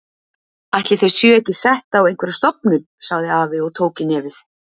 Ætli þau séu ekki sett á einhverja stofnun sagði afi og tók í nefið.